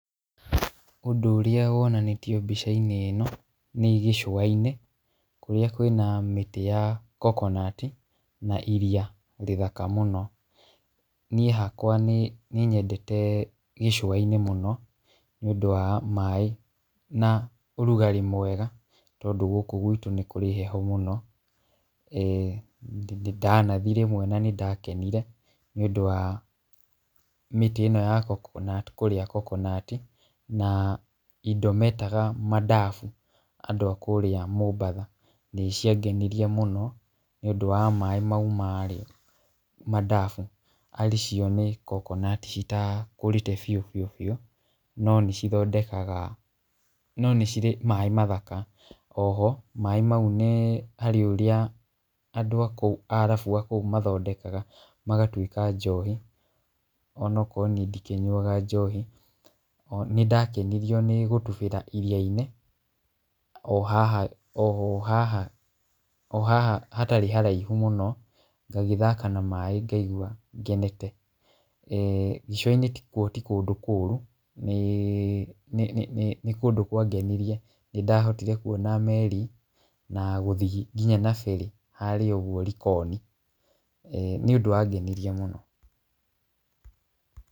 Ũndũ ũrĩa wonanĩtio mbica-inĩ ĩno, nĩ gĩcũwa-inĩ, kũrĩa kwĩna mĩtĩ ya kokonati na iria rĩthaka mũno , niĩ hakwa nĩ nyendete gĩcũwa-inĩ mũno nĩ ũndũ wa maaĩ, na ũrugarĩ mwega, tondũ gũkũ gwitũ nĩkũrĩ heho mũno, e ndanathiĩ rĩmwe na nĩndakenire nĩ ũndũ wa mĩtĩ ĩno ya kokonatikũrĩa kokonatina indo metaga madafu andũ a kũrĩa Mombatha, nĩ cia ngenirie mũno , nĩ ũndũ wa maaĩ mau marĩ madafu ari cio nĩ kokonaticitakũrĩte biũ biũ biũ, no nĩ cithondekaga no nĩ cire maaĩ mathaka, oho maaĩ mau nĩ hariĩ ũrĩa andũ a kũu, arabu a kũu mathondekaga magatwĩka njohi ona akorwo nĩi ndikĩnyuaga njohi, nĩ ndakenirio nĩ gũtubĩra iria-inĩ, o hah o haha o haha hatarĩ haraihu mũno, ngagĩthaka na maaĩ ngaigua ngenete, e gĩcũwa-inĩ kuo ti kũndũ kũru , nĩ nĩ nĩ kũndũ kwangenirie , nĩndahotire kuona meri na gũthiĩ nginya na ferry harĩa ũgwo Likoni, nĩ ũndũ wangenirie mũno.